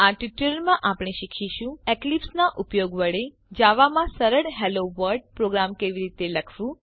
આ ટ્યુટોરીયલમાં આપણે શીખીશું એક્લિપ્સ નાં ઉપયોગ વડે જાવા માં સરળ હેલ્લો વર્લ્ડ પ્રોગ્રામ કેવી રીતે લખવું